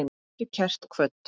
Vertu kært kvödd.